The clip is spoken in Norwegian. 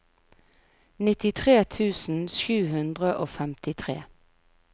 nittitre tusen sju hundre og femtitre